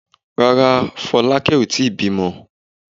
Rárá, Fọlákẹ́ ò tí ì bímọ.